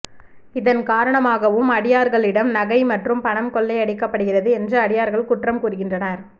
இதன் காரணமாகவும் அடியார்களிடம் நகை மற்றும் பணம் கொள்ளை அடிக்கப்படுகிறது என்று அடியார்கள் குற்றம் கூறுகின்றனர்